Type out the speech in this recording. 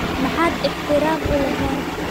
Maxaad ixtiraam uu laxeen?